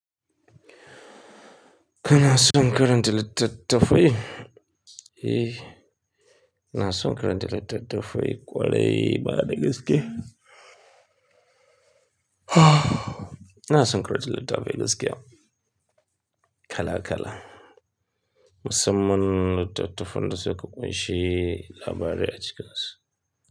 Ka na son karanta littattafai? Eh, ina son karanta littattafai ƙwarai bada gaske. Ina son karanta littattafai gaskiya kala-kala. Musamman littattafan da suka ƙunshi labarai a cikinsu.